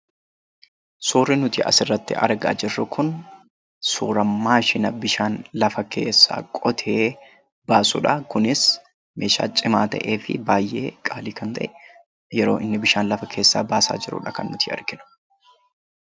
Suurri nuti asirratti argaa jirru kun, suura maashina bishaan lafa keessaa qotee baasuudha. Kunnis meeshaa cimaa ta'ee fi baayyee qaalii kan ta'e yeroo inni bishaan lafa keessaa baasaa jirudha kan nuti arginu.